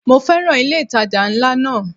Mo féràn ilé ìtajà ńlá náà.